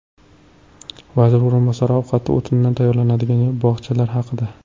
Vazir o‘rinbosari ovqati o‘tinda tayyorlanadigan bog‘chalar haqida.